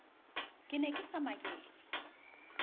ke ne ke sa maketse